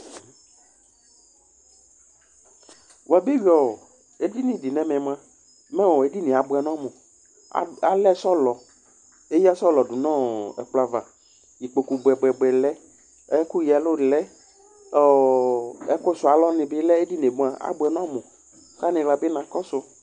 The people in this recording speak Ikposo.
Wuabeyʋi edini dɩ nʋ ɛmɛ mua, mɛ edini yɛ abʋɛ nʋ ɔmʋ Eyǝ sɔlɔ dʋ nʋ ɛkplɔ ava Ikpoku bʋɛbʋɛbʋɛ lɛ, ɛkʋyǝɛlʋ lɛ, ɛkʋsʋalɔ nɩbɩ lɛ Edini yɛ abʋɛ nʋ ɔmʋ kʋ aniɣla bɩ na kɔsʋ